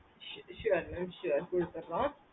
sure mam sure குடுத்துறோம்